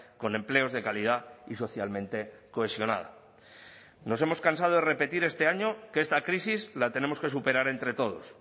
con empleos de calidad y socialmente cohesionada nos hemos cansado de repetir este año que esta crisis la tenemos que superar entre todos